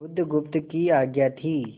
बुधगुप्त की आज्ञा थी